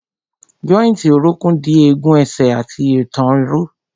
Jọ́ìntì orókún dì egun ẹsẹ̀ àti ìtàn ró.